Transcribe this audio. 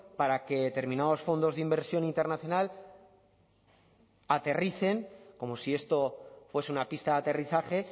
para que determinados fondos de inversión internacional aterricen como si esto fuese una pista de aterrizaje